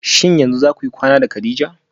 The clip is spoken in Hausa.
Shin yanzu zakuyi kwana da kadija?